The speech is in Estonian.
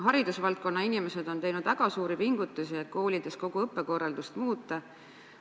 Haridusvaldkonna inimesed on teinud väga suuri pingutusi, et koolides kogu õppekorraldust muuta.